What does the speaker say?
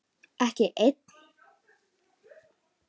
Ekki ein?